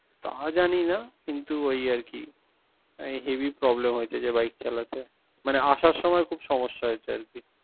তা জানি না কিন্ত ওই আরকি। হে হেবি problem হয়েছে যে bike চালাতে। মানে আসার সময় খুব সমস্যা হয়েছে আরকি।